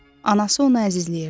Anası onu əzizləyirdi.